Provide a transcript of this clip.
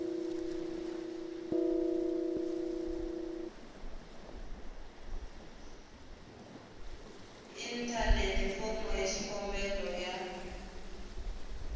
inthanete fomo ya xikombelo ya